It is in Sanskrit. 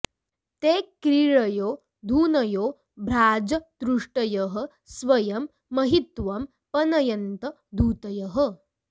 ते क्री॒ळयो॒ धुन॑यो॒ भ्राज॑दृष्टयः स्व॒यं म॑हि॒त्वं प॑नयन्त॒ धूत॑यः